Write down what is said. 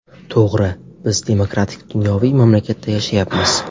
To‘g‘ri, biz demokratik-dunyoviy mamlakatda yashayapmiz.